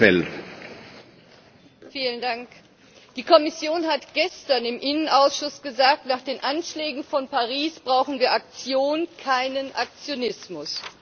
Herr Präsident! Die Kommission hat gestern im Innenausschuss gesagt, nach den Anschlägen von Paris brauchen wir Aktionen, keinen Aktionismus.